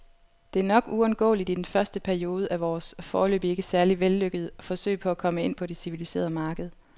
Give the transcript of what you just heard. Det er nok uundgåeligt i den første periode af vores, foreløbig ikke særlig vellykkede, forsøg på at komme ind på det civiliserede marked.